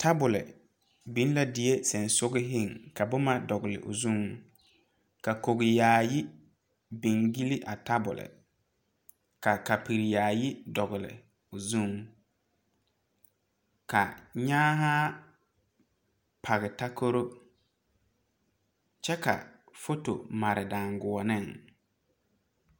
Tabole biŋ la die seŋsugliŋ ka boma dɔgle o zuŋ ka kogi yaayi biŋ gyile a tabole ka kapure yaayi dɔgle o zuŋ ka nyaahaa pɔge takoro kyɛ ka foto mare daanguoneŋ.